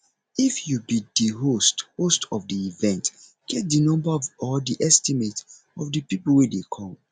if you be di host host of the event get the number or the estimate of di people wey dey come